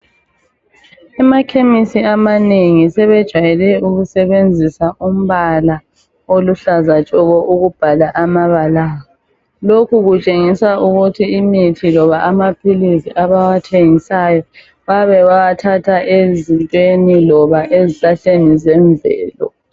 Emakhemisi amanengi sebejwayele ukusebenzisa umbala oluhlaza tshoko ukubhala amabala, lokhu kutshengisa ukuthi imithi loba amaphilisi abawathengisayo bayabe bewathatha ezintweni loba ezihlahleni zemvelo.